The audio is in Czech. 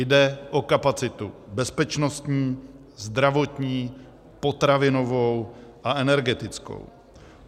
Jde o kapacitu bezpečnostní, zdravotní, potravinovou a energetickou.